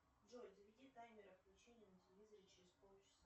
джой заведи таймер отключения на телевизоре через полчаса